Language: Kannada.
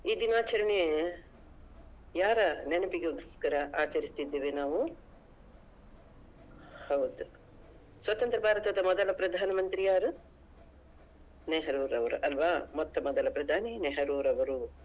ಈ ದಿನಾಚರಣೆ ಯಾರ ನೆನಪಿಗೋಸ್ಕರ ಆಚರಿಸುತ್ತಿದ್ದೇವೆ ನಾವು ಹೌದು ಸ್ವತಂತ್ರ ಭಾರತದ ಮೊದಲ ಪ್ರಧಾನ ಮಂತ್ರಿ ಯಾರು ನೆಹರುರವರು ಅಲ್ವಾ ಮೊತ್ತ ಮೊದಲ ಪ್ರಧಾನಿ ನೆಹರುರವರು.